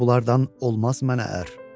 Deyirdi: bunlardan olmaz mənə ər.